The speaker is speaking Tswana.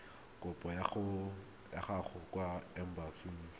kopo ya gago kwa embasing